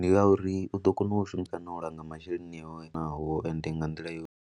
Ndi ngauri u ḓo kona u shumisa na u langa masheleni awe naho, ende nga nḓila yo.